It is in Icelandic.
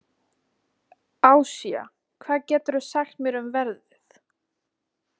Asía, hvað geturðu sagt mér um veðrið?